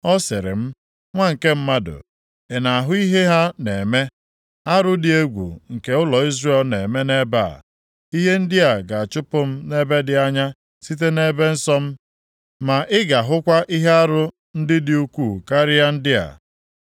Ọ sịrị m, “Nwa nke mmadụ, ị na-ahụ ihe ha na-eme, arụ dị egwu nke ụlọ Izrel na-eme nʼebe a, ihe ndị ga-achụpụ m nʼebe dị anya site nʼebe nsọ m? Ma ị ga-ahụkwa ihe arụ ndị dị ukwuu karịa ndị a.”